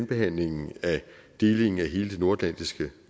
behandlingen af delingen af hele det nordatlantiske